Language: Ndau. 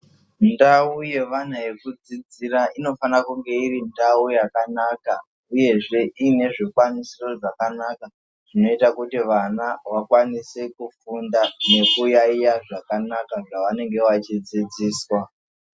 Ndau yevana yekudzidzira inofana kunge iri ndau yakanaka uyezve iine zvikwanisiro zvakanaka zvinoite kuti vana vakwanise kufunda nekuyayiya zvakanaka zvavanenge vachidzidziswa.